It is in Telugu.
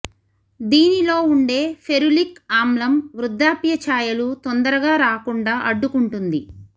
దీనిలో ఉండే ఫెరులిక్ ఆమ్లం వృద్ధాప్య ఛాయలు తొందరగా రాకుండా అడ్డుకుంటుంది